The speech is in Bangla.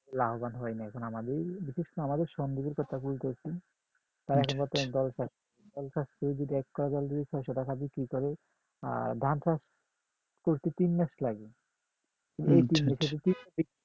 লাভবান হয় নাই এখন আমাদের এই বিশেষ করে আমাদের স্বন্দীপের কথা কইতাছি দল ছাড়ছে দল যদি ছয়শত টাকা দিয়ে বিক্রি করে আর ধান চাষ করতে তিন মাস লাগে এই তিন মাসে যদি